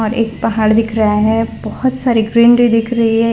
और एक पहाड़ दिख रहा है बोहोत सारी ग्रीनरी दिख रही है।